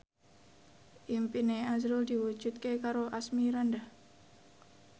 impine azrul diwujudke karo Asmirandah